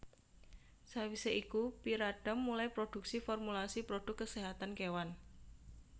Sawisé iku Pyridam mulai produksi formulasi produk keséhatan kewan